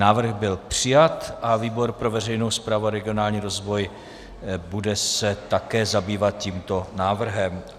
Návrh byl přijat a výbor pro veřejnou správu a regionální rozvoj se bude také zabývat tímto návrhem.